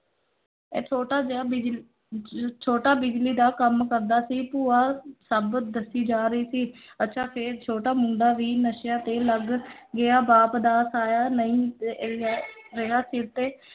ਇਹ ਛੋਟਾ ਜਿਹਾ ਛੋਟਾ ਬਿਜਲੀ ਦਾ ਕੰਮ ਕਰਦਾ ਸੀ, ਭੂਆ ਸਭ ਦੱਸੀ ਜਾ ਰਹੀ ਸੀ ਅੱਛਾ ਫੇਰ ਛੋਟਾ ਮੁੰਡਾ ਵੀ ਨਸ਼ਿਆਂ ਤੇ ਲੱਗ ਗਿਆ, ਬਾਪ ਦਾ ਸਾਇਆ ਨਹੀਂ ਰਿਹਾ ਸਿਰ ਤੇ